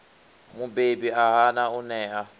mubebi a hana u ṋea